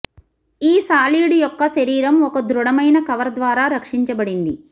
ఈ సాలీడు యొక్క శరీరం ఒక దృఢమైన కవర్ ద్వారా రక్షించబడింది